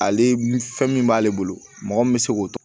Ale fɛn min b'ale bolo mɔgɔ min be se k'o